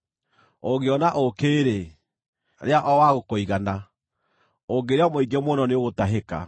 Ũngĩona ũũkĩ-rĩ, rĩa o wa gũkũigana, ũngĩrĩa mũingĩ mũno nĩũgũtahĩka.